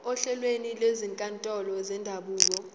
ohlelweni lwezinkantolo zendabuko